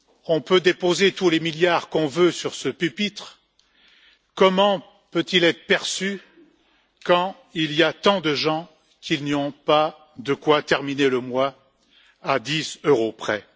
On peut déposer tous les milliards qu'on veut sur ce pupitre, comment cela peut il être perçu quand il y a tant de gens qui n'ont pas de quoi terminer le mois à 10 euros près?